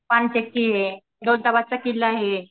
ये दौलताबादचा किल्ला आहे.